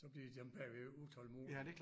Så bliver dem bagved utålmodige